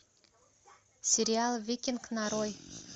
сериал викинг нарой